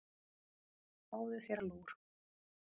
Fáðu þér lúr.